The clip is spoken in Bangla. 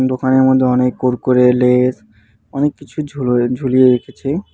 দোকানের মধ্যে অনেক কুরকুরে লেস অনেক কিছু ঝুলয় ঝুলিয়ে রেখেছে।